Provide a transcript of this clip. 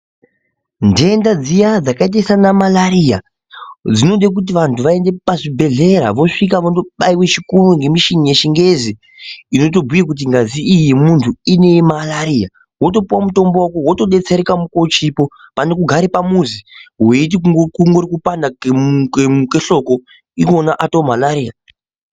Ntenda dziya dzakaita sana marariya dzinode kuti vantu vaende pazvibhedhlera vosvika vondobaiwe chikoo ngemishini yechingezi inotobhuye kuti ngazi iyi yemuntu ine marariya wotopuwa mutombo wako wotodetsereka mukuwo uchipo pane kugare pamuzi weiti kungori kupanda kwehloko iwona atoo marariya .